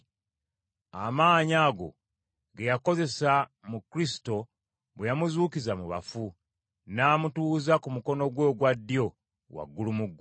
amaanyi ago ge yakozesa mu Kristo bwe yamuzuukiza mu bafu, n’amutuuza ku mukono gwe ogwa ddyo waggulu mu ggulu.